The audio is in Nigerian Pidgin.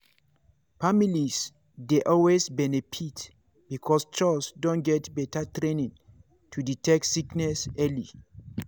families dey always benefit because chws don get better training to detect sickness early.